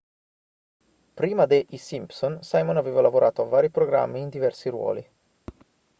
prima de i simpson simon aveva lavorato a vari programmi in diversi ruoli